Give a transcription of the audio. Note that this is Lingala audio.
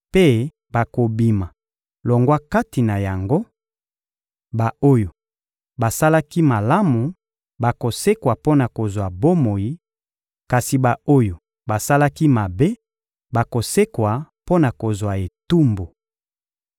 mpe bakobima longwa kati na yango: ba-oyo basalaki malamu bakosekwa mpo na kozwa bomoi, kasi ba-oyo basalaki mabe bakosekwa mpo na kozwa etumbu.